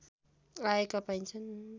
आएका पाइन्छन्